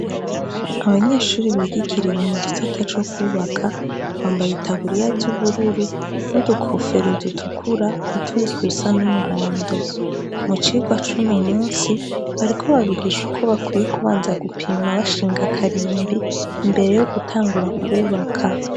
Abanyeshuri bigikiriri mu gisata co kwubaka bambaye itaburiya z'ubururu n'udukofero dutukura utundi dusa n'umuhondo mu cirwa cuno musi bariko babigisha uko bakwiye kubanza gupima bashingakarimbi imbere yo gutangura kwubaka.